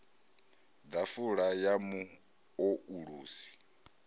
ḓafula ya mu o ulusi